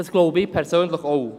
Das glaube ich persönlich auch.